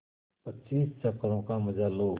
पच्चीस चक्करों का मजा लो